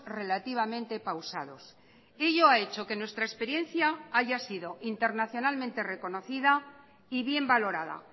relativamente pausados ello ha hecho que nuestra experiencia haya sido internacionalmente reconocida y bien valorada